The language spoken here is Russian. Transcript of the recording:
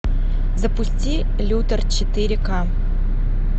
запусти лютер четыре ка